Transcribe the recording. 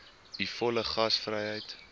u volle gasvryheid